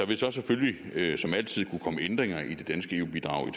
vil så selvfølgelig som altid kunne komme ændringer i det danske eu bidrag i